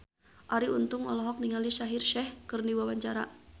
Arie Untung olohok ningali Shaheer Sheikh keur diwawancara